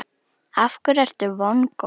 Af hverju ertu vongóð?